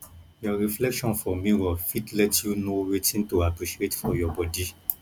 yor reflection for mirror fit let you know wetin to appreciate for your body